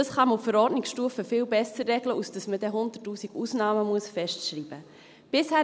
Das kann man auf Verordnungsstufe viel besser regeln, anstatt dass man dann 100’000 Ausnahmen festschreiben muss.